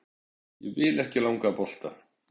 Ég vil ekki langa bolta.